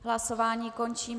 Hlasování končím.